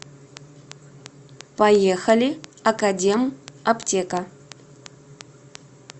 поехали академ аптека